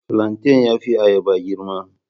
Flantain ya fi ayaba girma.